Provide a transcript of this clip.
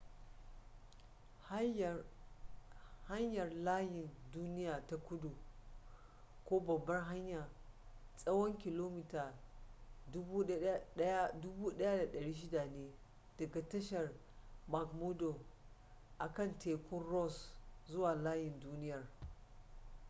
hayar layin duniya na kudu ko babbar hanya tsawon kilomita 1600 ne daga tashar mcmurdo akan tekun ross zuwa layin duniyar